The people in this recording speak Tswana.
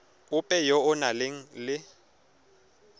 ope yo o nang le